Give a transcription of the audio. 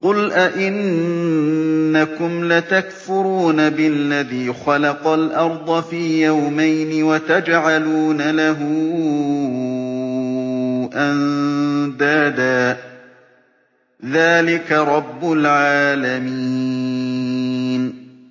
۞ قُلْ أَئِنَّكُمْ لَتَكْفُرُونَ بِالَّذِي خَلَقَ الْأَرْضَ فِي يَوْمَيْنِ وَتَجْعَلُونَ لَهُ أَندَادًا ۚ ذَٰلِكَ رَبُّ الْعَالَمِينَ